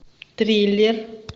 триллер